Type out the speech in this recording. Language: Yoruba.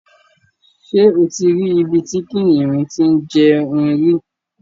Ṣé o ti rí ibi tí kìnnìún ti ń jẹun rí?